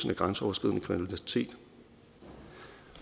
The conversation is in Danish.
grænseoverskridende kriminalitet